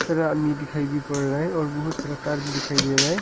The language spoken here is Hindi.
बड़ा आदमी दिखाई भी पड़ रहा है और बहुत सारा तार भी दिखाई दे रहा है।